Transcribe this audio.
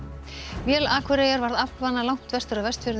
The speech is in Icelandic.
vél Akureyjar varð langt vestur af Vestfjörðum í